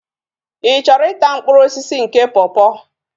Ị chọrọ ịta mkpụrụ osisi nke pọpọ?